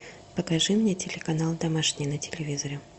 покажи мне телеканал домашний на телевизоре